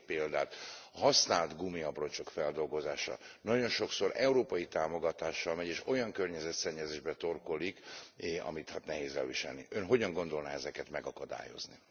Mondok egy példát használt gumiabroncsok feldolgozása. Nagyon sokszor európai támogatással megy, és olyan környezetszennyezésbe torkollik, amit hát nehéz elviselni. Ön hogyan gondolná ezeket megakadályozni?